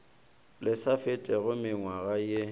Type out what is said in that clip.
le sa fetego mengwaga ye